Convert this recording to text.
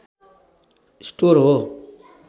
store हो